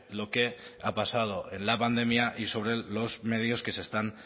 lo que ha pasado en la pandemia y sobre los medios que se están